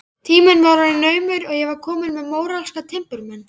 Tíminn var orðinn naumur og ég komin með móralska timburmenn.